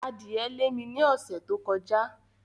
Adìẹ lé mi ní ọ̀sẹ̀ tó kọjá.